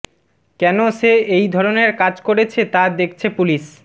কেন সে এই ধরনের কাজ করেছে তা দেখছে পুলিশ